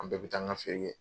An bɛɛ bɛ taa an ka feere kɛ.